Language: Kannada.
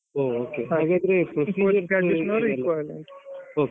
.